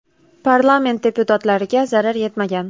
Parlament deputatlariga zarar yetmagan.